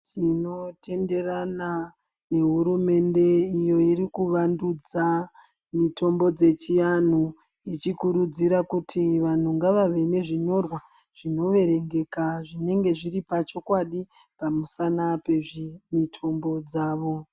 Tinotenderana nehurumende iyo irikuvandudza mitombo dzechianhu ichikurudzira kuti vanhu ngavave nezvinyorwa zvinoverengeka zvinenge zviri pachokwani pamusana pezvimitombo dzavo.